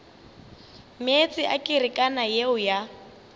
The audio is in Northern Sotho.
meetse a kerekana yeo ya